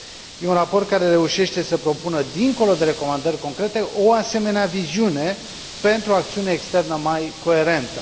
E un raport care reușește să propună, dincolo de recomandări concrete, o asemenea viziune, pentru o acțiune externă mai coerentă.